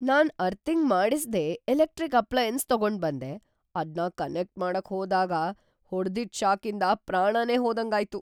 ನಾನ್ earthing ಮಾಡಿಸ್ದೇ electric appliances ತಗೊಂಡ್ಬಂದೆ, ಅದ್ನ ಕನೆಕ್ಟ್ ಮಾಡಕ್‌ ಹೋದಾಗ್‌ ಹೊಡ್ದಿದ್ ಷಾಕಿಂದ ಪ್ರಾಣನೇ ಹೋದಂಗಾಯ್ತು.